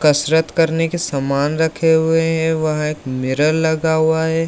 कसरत करने के सामान रखे हुए है वहां एक मिरर लगा हुआ है।